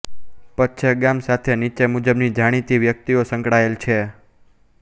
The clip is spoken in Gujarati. પચ્છેગામ સાથે નીચે મુજબની જાણીતી વ્યક્તિઓ સંકળાયેલ છે